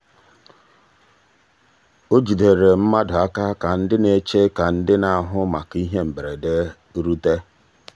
o jidere mmadụ aka ka ha na-eche ka ndị na-ahụ maka ihe mberede bịarute.